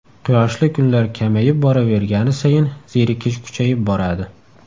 Quyoshli kunlar kamayib boravergani sayin zerikish kuchayib boradi.